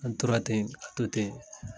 An tora ten ka to ten.